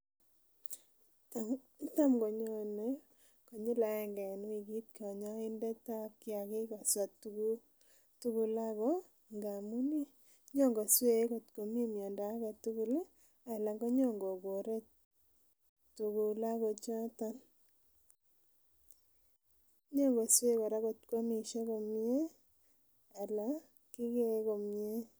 Tamkonyonei konyil aenge en wigit , kanyaindetab kiagik koswa tuguk tugul ako ih ngamuun ih inyokosue kot ko me mianda agetugul anan iyon ko kogore inyokosue atkoamishe komie anan anan kabiya komie.